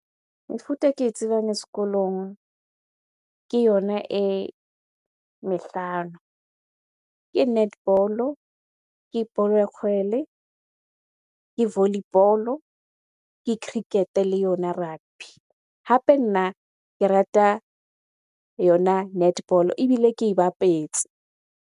Mefuta e ke e tsebang sekolong, ke yona e mehlano. Ke netball-o, ke bolo , ke volleyball, ke cricket-e le yona rugby. Hape nna ke rata yona netball-o ebile ke e bapetse.